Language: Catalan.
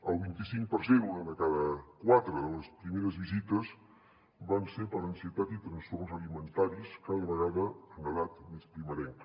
el vint i cinc per cent una de cada quatre de les primeres visites van ser per ansietat i trastorns alimentaris cada vegada en edat més primerenca